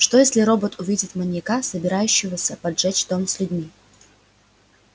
что если робот увидит маньяка собирающегося поджечь дом с людьми